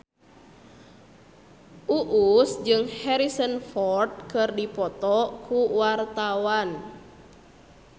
Uus jeung Harrison Ford keur dipoto ku wartawan